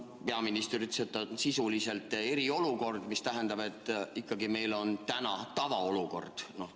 Peaminister ütles, et on sisuliselt eriolukord, mis tähendab, et meil ikkagi on praegu tavaolukord.